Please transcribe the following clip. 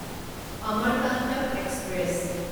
Amarkantak express